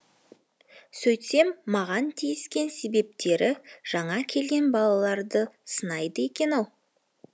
сөйтсем маған тиіскен себептері жаңа келген балаларды сынайды екен ау